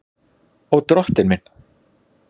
Og Drottinn minn!